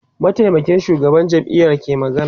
mataimakin shugaban jam'iya ke magana